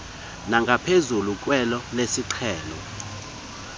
nangaphezulu kwelo lesiqhelo